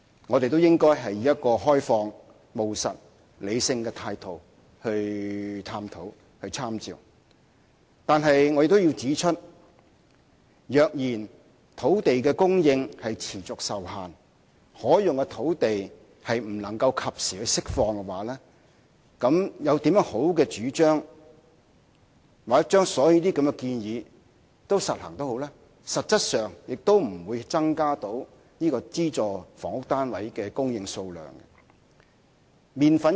我們應以一個開放、務實和理性的態度進行探討，但我亦要指出，如果土地供應持續受限，可用的土地不能及時釋放，則無論有多好的主張，又或將這些建議全都付諸實行，實質上亦不會增加資助房屋單位的供應數量。